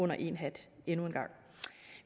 under én hat